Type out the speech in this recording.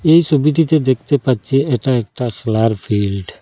এই ছবিটিতে দেখতে পাচ্ছি এটা একটা খেলার ফিল্ড ।